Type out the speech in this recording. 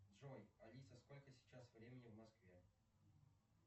джой алиса сколько сейчас времени в москве